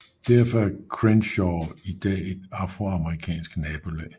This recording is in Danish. Derfor er Crenshaw i dag et afroamerikansk nabolag